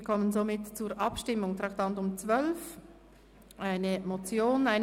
Wir kommen somit zur Abstimmung über die Motion «